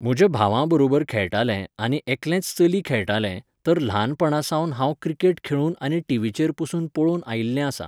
म्हज्या भावां बरोबर खेळटालें आनी एकटेंच चली खेळटालें, तर ल्हानपणासावन हांव क्रिकेट खेळून आनी टिवीचेर पसून पळोवन आयिल्लें आसां.